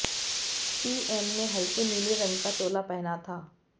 PM ने हल्के नीले रंग का चोला पहना था